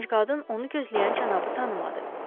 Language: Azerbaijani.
Gənc qadın onu gözləyən cənabı tanımadı.